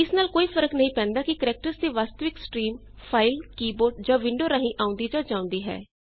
ਇਸ ਨਾਲ ਕੋਈ ਫ਼ਰਕ ਨਹੀਂ ਪੈਂਦਾ ਕਿ ਕੈਰੈਕਟਰਜ਼ ਦੀ ਵਾਸਤਵਿਕ ਸਟ੍ਰੀਮ ਫਾਈਲ ਕੀ ਬੋਰਡ ਜਾਂ ਵਿੰਡੋ ਰਾਹੀਂ ਆਂਉਦੀ ਜਾਂ ਜਾਉਂਦੀ ਹੈ